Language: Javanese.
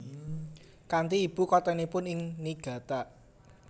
Kanthi Ibu kotanipun ing Niigata